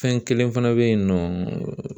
Fɛn kelen fana be yen nɔ